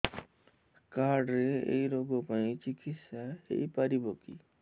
card ରେ ଏଇ ରୋଗ ପାଇଁ ଚିକିତ୍ସା ହେଇପାରିବ କି